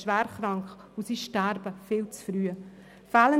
auch Kinder können schwer krank sein und viel zu früh sterben.